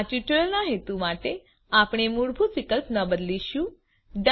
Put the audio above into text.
આ ટ્યુટોરીયલના હેતુ માટે આપણે મૂળભૂત વિકલ્પ ન બદલીશું